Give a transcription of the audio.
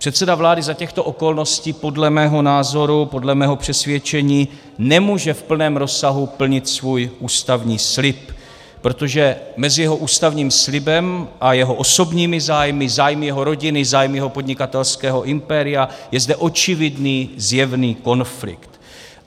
Předseda vlády za těchto okolností podle mého názoru, podle mého přesvědčení nemůže v plném rozsahu plnit svůj ústavní slib, protože mezi jeho ústavním slibem a jeho osobními zájmy, zájmy jeho rodiny, zájmy jeho podnikatelského impéria, je zde očividný, zjevný konflikt.